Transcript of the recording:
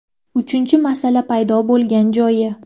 Uchinchi masala paydo bo‘lgan joyi.